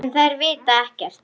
En þær vita ekkert.